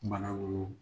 Bana wolonwu